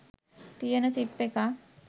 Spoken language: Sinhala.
තියන චිප් එකක්